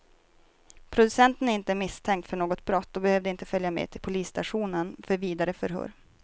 Producenten är inte misstänkt för något brott och behövde inte följa med till polisstationen för vidare förhör.